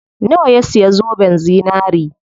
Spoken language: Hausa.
Nawa ya siya zoben zinari?